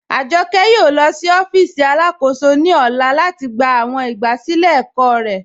Ajọkẹ yóò lọ sí ọfíìsì alákóṣò ní ọlá lati gbà awọn igbásílẹ̀ ẹ̀kọ̀ rẹ.